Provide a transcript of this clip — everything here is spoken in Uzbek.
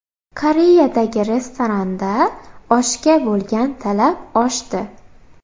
Koreyadagi restoranda oshga bo‘lgan talab oshdi.